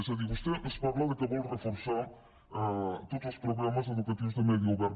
és a dir vostè ens diu que vol reforçar tots els programes educatius de medi obert